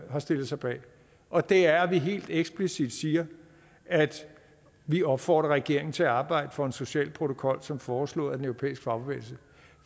har stillet sig bag og det er at vi helt eksplicit siger at vi opfordrer regeringen til at arbejde for en social protokol som foreslået af den europæiske fagbevægelse